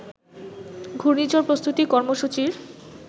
ঘূর্ণিঝড় প্রস্তুতি কর্মসূচির